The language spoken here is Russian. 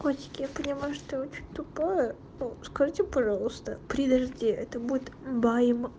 котики я поняла что ты я очень тупя и скажите пожалуйста при дожде это будет баем